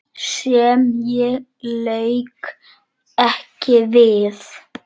Sem ég lauk ekki við.